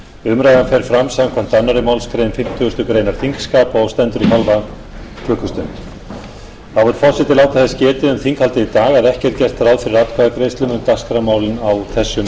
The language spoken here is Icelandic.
umræðan fer fram samkvæmt annarri málsgrein fimmtugustu grein þingskapa og stendur í hálfa klukkustund þá vill forseti láta þess getið um þinghaldið í dag að ekki er gert ráð fyrir atkvæðagreiðslum um dagskrármálin á þessum degi